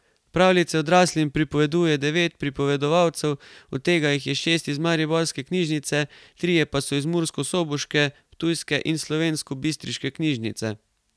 Pravljice odraslim pripoveduje devet pripovedovalcev, od tega jih je šest iz Mariborske knjižnice, trije pa so iz murskosoboške, ptujske in slovenskobistriške knjižnice.